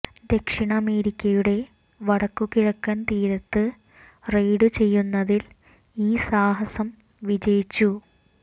ദക്ഷിണ അമേരിക്കയുടെ വടക്കുകിഴക്കൻ തീരത്ത് റെയ്ഡ് ചെയ്യുന്നതിൽ ഈ സാഹസം വിജയിച്ചു